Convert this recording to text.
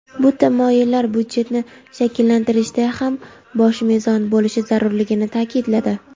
bu tamoyillar budjetni shakllantirishda ham bosh mezon bo‘lishi zarurligini ta’kidladi.